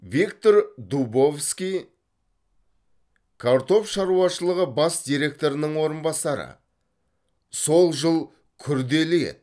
виктор дубовский картоп шаруашылығы бас директорының орынбасары сол жыл күрделі еді